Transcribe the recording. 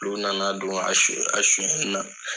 Olu nana don a suɲɛni na.